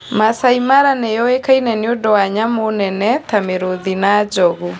Maasai Mara nĩ yũĩkaine nĩ ũndũ wa nyamũ nene ta mĩrũthi na njogu.